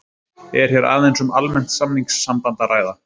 Er hér aðeins um almennt samningssamband að ræða.